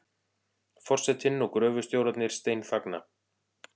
Forsetinn og gröfustjórarnir steinþagna.